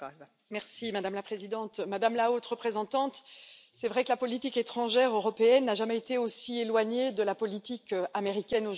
Madame la Présidente, Madame la Haute représentante, il est vrai que la politique étrangère européenne n'a jamais été aussi éloignée de la politique américaine qu'aujourd'hui.